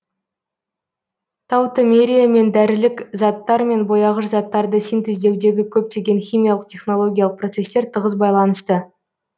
таутомериямен дәрілік заттар мен бояғыш заттарды синтездеудегі көптеген химиялық технологиялық процестер тығыз байланысты